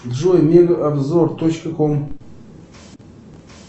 джой мега обзор точка ком